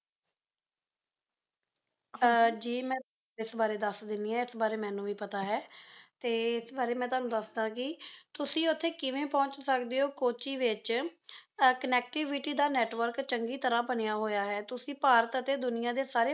ਜੀ ਮੈਂ ਤੁਹਾਨੂੰ ਇਸ ਬਾਰੇ ਦੱਸ ਦਿੰਨੀ ਹਾਂ ਇਸ ਬਾਰੇ ਮੈਨੂੰ ਵੀ ਪਤਾ ਹੈ ਤੇ ਇਸ ਬਾਰੇ ਮੈਂ ਤੁਹਾਨੂੰ ਦੱਸਦਾ ਕਿ ਤੁਸੀਂ ਉੱਥੇ ਕਿਵੇਂ ਪਹੁੰਚ ਸਕਦੇ ਹੋ ਕੋੱਚੀ ਵਿੱਚ connectivity ਦਾ network ਚੰਗੀ ਤਰ੍ਹਾਂ ਬਣਿਆ ਹੋਇਆ ਹੈ ਤੁਸੀਂ ਭਾਰਤ ਅਤੇ ਦੁਨੀਆਂ ਦੇ ਸਾਰੇ